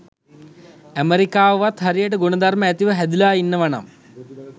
අමෙරිකවවත් හරියට ගුණ ධර්ම ඇතුව හැදිලා ඉන්නවා නම්